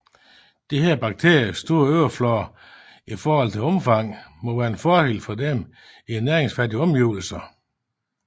Disse bakteriers store overflade i forhold til rumfang må være en fordel for dem i næringsfattige omgivelser